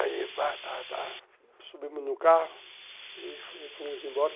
Aí tá tá tá subimos no carro e fomos embora.